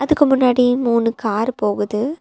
அதுக்கு முன்னாடி மூணு கார் போகுது.